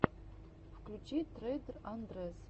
включи трейдер андрэс